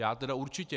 Já tedy určitě.